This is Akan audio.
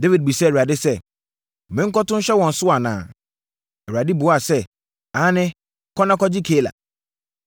Dawid bisaa Awurade sɛ, “Menkɔto nhyɛ wɔn so anaa?” Awurade buaa sɛ, “Aane, kɔ na kɔgye Keila.”